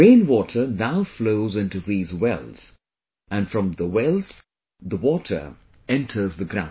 Rain water now flows into these wells, and from the wells, the water enters the ground